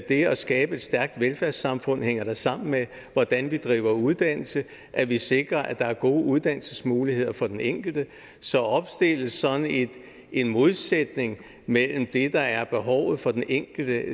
skabe et stærkt velfærdssamfund hænger da sammen med hvordan vi driver uddannelse at vi sikrer at der er gode uddannelsesmuligheder for den enkelte så at opstille sådan en modsætning mellem det der er behovet for den enkelte